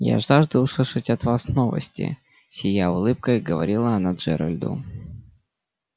я жажду услышать от вас новости сияя улыбкой говорила она джералду